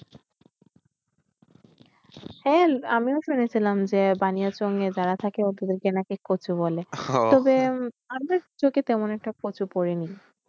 হ্যাঁ আমিও শুনেছিলাম যে বানিয়াচং এ যারা থাকে ওদেরকে নাকি কচু বলে তবে আমার চোখে তেমন একটা কচু পড়েনি।